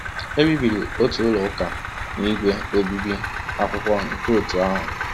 E bibiri otu ụlọ ụka na ígwè obibi akwụkwọ nke òtù ahụ.